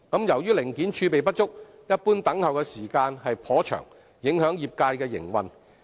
由於零件儲備不足，一般等候時間頗長，影響業界營運。